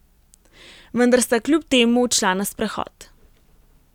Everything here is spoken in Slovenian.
Vendar sta kljub temu odšla na sprehod.